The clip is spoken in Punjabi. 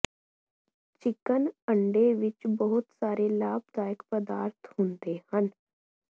ਚਿਕਨ ਅੰਡੇ ਵਿੱਚ ਬਹੁਤ ਸਾਰੇ ਲਾਭਦਾਇਕ ਪਦਾਰਥ ਹੁੰਦੇ ਹਨ